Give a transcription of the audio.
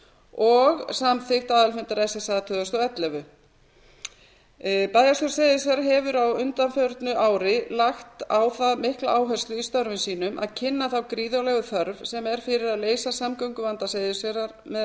og samþykkt aðalfundar ssa tvö þúsund og ellefu bæjarstjórn seyðisfjarðar hefur á undanförnu ári lagt á það mikla áherslu í störfum sínum að kynna þá gríðarlegu þörf sem er fyrir að leysa samgönguvanda seyðisfjarðar með